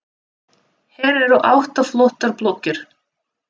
Hér eru átta flottar blokkir.